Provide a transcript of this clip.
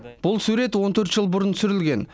бұл сурет он төрт жыл бұрын түсірілген